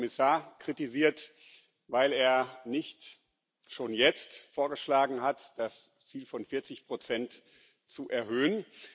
Sie haben den Kommissar kritisiert, weil er nicht schon jetzt vorgeschlagen hat, das Ziel von 40 zu erhöhen.